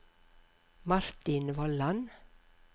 Martin Vollan